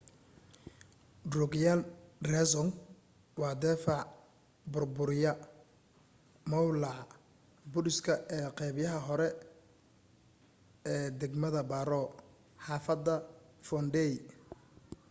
drukgyal dzong waa difaac bur buray mowlaca budiiska ee qeybaha kore ee dagmada paro xaafadda phondey